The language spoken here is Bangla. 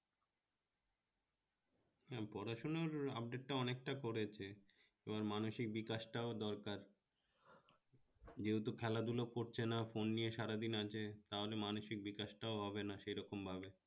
পড়াশোনার update টা অনেকটা করেছে এবার মানসিক বিকাশটাও দরকার যেহেতু খেলাধুলা করছে না phone নিয়ে সারা দিন আছে তাহলে মানসিক বিকাশ টা হবেনা সেরকমভাবে